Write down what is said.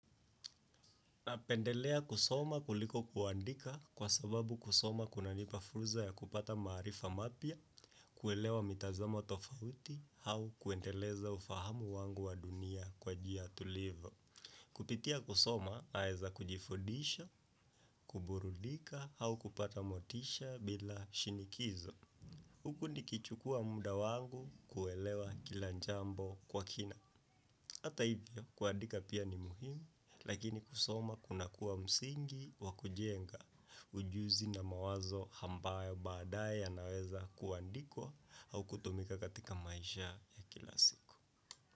Na pendelea kusoma kuliko kuandika kwa sababu kusoma kunanipa furza ya kupata maarifa mapya, kuelewa mitazamo tofauti hau kuendeleza ufahamu wangu wa dunia kwa jia tulivo. Kupitia kusoma, naeza kujifudisha, kuburudika au kupata motisha, bila shinikizo. Huku nikichukua mudawangu kuelewa kila njambo, kwa kina. Hata hivyo, kuadika pia ni muhimu, lakini kusoma kuna kuwa msingi wa kujenga ujuzi na mawazo hambayo badae yanaweza kuandikwa au kutumika katika maisha ya kila siku.